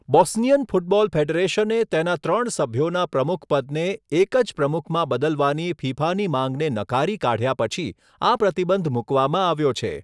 Bosnian football ફેડરેશને તેના ત્રણ સભ્યોના પ્રમુખપદને એક જ પ્રમુખમાં બદલવાની ફિફાની માંગને નકારી કાઢ્યા પછી આ પ્રતિબંધ મૂકવામાં આવ્યો છે.